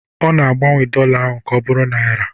Ọ na-agbanwe dollar ka ọ bụrụ naira